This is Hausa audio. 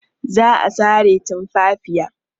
Za a sare tumfafiya.